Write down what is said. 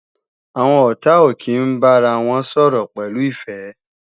Àwọn ọ̀tá ò kí ń bára wọn sọ̀rọ̀ pẹ̀lú ìfẹ́